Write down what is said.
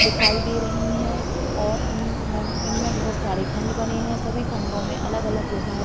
दिखाई दे रही है और इन इनमें बहुत सारे खंड बने हुए हैं सभी खंडों में अलग-अलग विभाग--